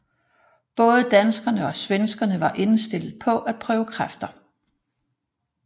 Både danskerne og svenskerne var indstillet på at prøve kræfter